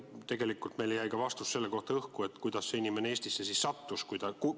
Tegelikult jäi meil vastus õhku ka selle kohta, kuidas see inimesest siis Eestisse sattus.